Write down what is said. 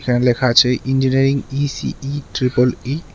এখানে লেখা আছে ইঞ্জিনিয়ারিং ই_সি_ই ট্রিপল ই ।